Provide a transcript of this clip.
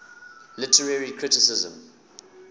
literary criticism